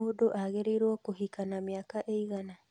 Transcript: Mũndũ agĩrĩrwo kũhika na mĩaka ĩigana